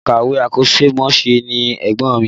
Òǹkàwé akọ́ṣẹ́mọṣẹ́ ni ẹ̀gbọ́n mi